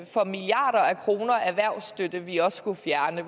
for milliarder af kroner erhvervsstøtte vi også skulle fjerne